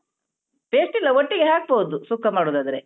Paste ಇಲ್ಲ ಒಟ್ಟಿಗೆ ಹಾಕ್ಬೋದು ಸುಕ್ಕ ಮಾಡುದಾದ್ರೆ.